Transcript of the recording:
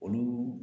Olu